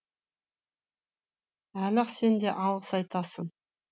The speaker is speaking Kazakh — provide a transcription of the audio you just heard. әлі ақ сен де алғыс айтасың